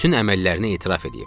Bütün əməllərini etiraf eləyib.